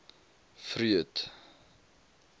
freud